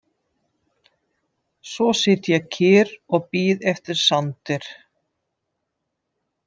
Svo sit ég kyrr og bíð eftir Sander.